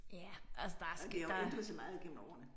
Ja altså der der